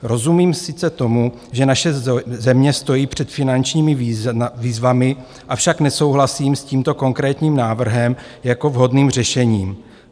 Rozumím sice tomu, že naše země stojí před finančními výzvami, avšak nesouhlasím s tímto konkrétním návrhem jako vhodným řešením.